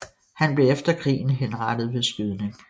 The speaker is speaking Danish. Han blev efter krigen henrettet ved skydning